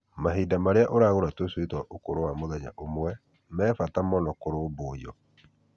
Mahinda marĩa ũragũra tũcui twa ũkũrũ wa mũthenya ũmwe me bata mũno kũrũmbũiyo.